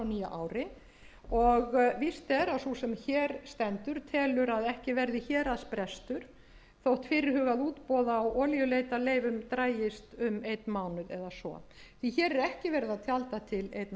ári og víst er að sú sem hér stendur telur að ekki verði héraðsbrestur þótt fyrirhugað útboð á olíuleitarleiðum dragist um einn mánuð eða svo því hér er ekki verið að tjalda til einnar nætur herra forseti samanber